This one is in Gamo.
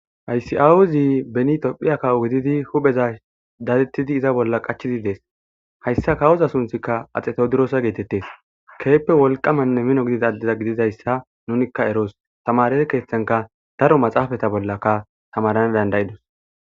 Aysi7awuzi beni tophiya kawo gididi hupheza datettidi iza bolla qachizi dees hayssa kawoza sunthikka axeto durosa geetettes keeppe wolqamanne mino gidid adeza gididayssa nunikka eroos tamarete keeththanka daro maxaafata bollaka tamarana. dandayidus.